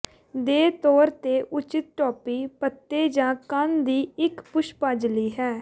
ਦੇ ਤੌਰ ਤੇ ਉਚਿਤ ਟੋਪੀ ਪੱਤੇ ਜ ਕੰਨ ਦੀ ਇੱਕ ਪੁਸ਼ਪਾਜਲੀ ਹੈ